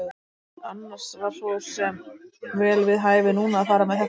Annars var svo sem vel við hæfi núna að fara með þetta kvæði.